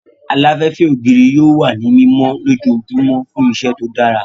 Aláfẹ́fẹ́ ògiri yóò wà ní mímọ lójoojúmọ́ fún iṣẹ́ tó dára